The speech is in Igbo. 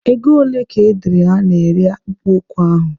Ego ole ka edere a na-ere akpụkpọ ụkwụ ahụ?